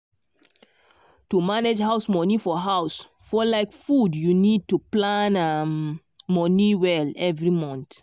to manage house money for house for like food you need to plan um money well every month.